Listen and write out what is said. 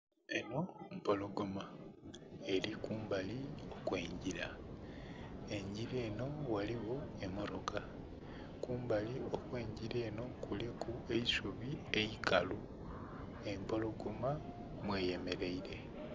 Enho mpologoma eli kumbali okw'engila. Engila enho ghaligho emmotoka. Kumbali okw'engila enho kuliku eisubi eikalu, empologoma mweyemeleile.